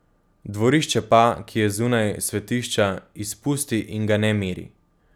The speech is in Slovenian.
Dvorišče pa, ki je zunaj svetišča, izpusti in ga ne meri.